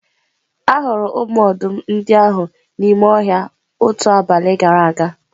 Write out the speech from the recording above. Ahụrụ ụmụ ọdụm ndị ahụ n'ime ọhịa otu abalị gara aga.